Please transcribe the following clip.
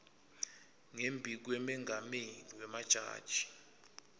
ngembi kwemengameli wemajaji